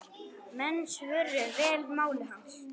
Menn svöruðu vel máli hans.